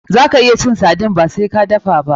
Zaka iya cin sardine ba sai ka dafa ba.